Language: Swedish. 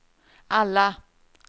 alla